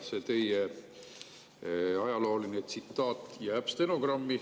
See teie ajalooline tsitaat jääb stenogrammi.